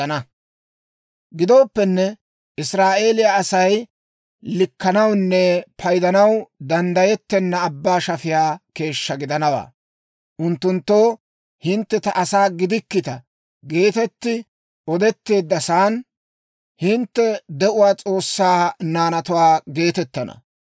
Gidooppenne «Israa'eeliyaa Asay likkanawunne paydanaw danddayettenna abbaa shafiyaa keeshshaa gidanawaa. Unttunttoo, ‹Hintte ta asaa gidikkita› geetetti odetteeddasan, ‹Hintte de'uwaa S'oossaa naanatuwaa› geetettana.